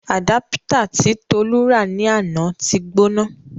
Àdápítà tí Tolu rà ní àná ti gbóná.